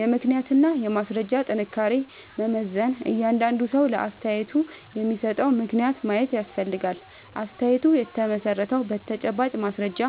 የምክንያትና የማስረጃ ጥንካሬን መመዘን እያንዳንዱ ሰው ለአስተያየቱ የሚሰጠውን ምክንያት ማየት ያስፈልጋል። አስተያየቱ የተመሠረተው በተጨባጭ ማስረጃ